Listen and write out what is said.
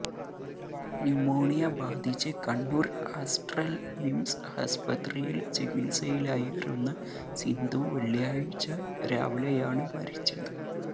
pneumonia ബാധിച്ച് Kannur Aster MIMS ആസ്പത്രിയില് ചികിത്സയിലായിരുന്ന സിന്ധു വെള്ളിയാഴ്ച്ച രാവിലെയാണ് മരിച്ചത്